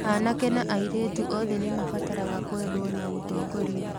Anake na airĩtu othe nĩ mabataraga kwendwo na gũtongorio.